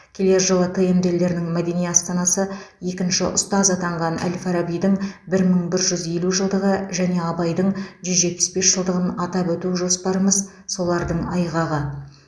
келер жылы тмд елдерінің мәдени астанасы екінші ұстаз атанған әл фарабидің бір мың бір жүз елу жылдығы және абайдың жүз жетпіс бес жылдығын атап өту жоспарымыз солардың айғағы